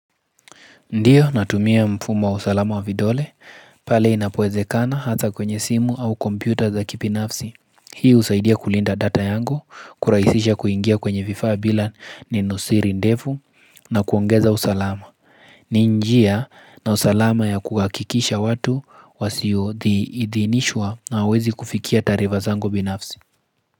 Ndiyo, natumia mfumo wa usalama wa vidole, pale inapowezekana hata kwenye simu au kompyuta za kibinafsi. Hii husaidia kulinda data yangu, kurahisisha kuingia kwenye vifaa bila neno siri ndefu, na kuongeza usalama. Ni njia na usalama ya kuhakikisha watu wasioidhinishwa hawawezi kufikia taarifa zangu binafsi.